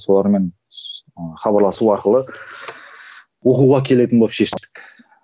солармен хабарласу арқылы оқуға келетін болып шештік